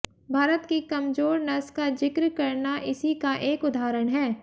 भारत की कमजोर नस का जिक्र करना इसी का एक उदाहरण है